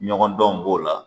Ɲɔgɔndanw b'o la